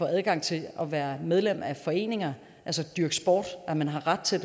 adgang til at være medlem af foreninger altså dyrke sport at man har ret til